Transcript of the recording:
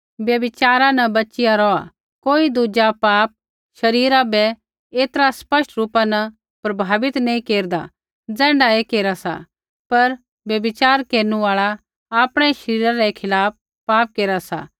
व्यभिचारा न बचिया रौहा कोई दुज़ा पापा शरीरा बै ऐतरा स्पष्ट रूपा न प्रभावित नैंई केरदा ज़ैण्ढै ऐ केरा सा पर व्यभिचार केरनु आल़ा आपणै ही शरीरा रै खिलाफ़ पाप केरा सा